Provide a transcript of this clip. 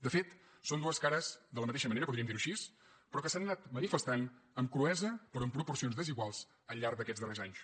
de fet són dues cares de la matei·xa moneda podríem dir·ho així però que s’han anat manifestant amb cruesa però en proporcions desiguals al llarg d’aquests darrers anys